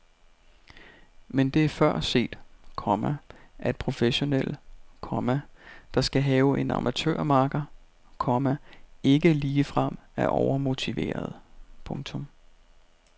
Men det er før set, komma at professionelle, komma der skal have en amatørmakker, komma ikke ligefrem er overmotiverede. punktum